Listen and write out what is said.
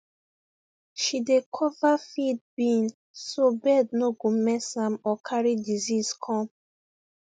she dey cover feed bin so bird no go mess am or carry disease come